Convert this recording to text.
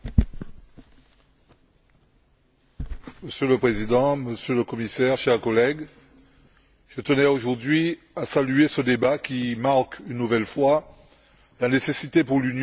Monsieur le Président, Monsieur le Commissaire, chers collègues, je tenais aujourd'hui à saluer ce débat qui marque une nouvelle fois la nécessité pour l'Union d'apprécier et de valoriser sa diversité régionale.